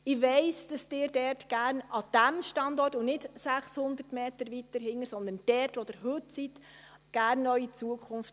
Ich weiss, dass Sie gerne an diesem Standort Ihre Zukunft hätten, und nicht 600 Meter weiter hinten, sondern dort, wo Sie heute sind.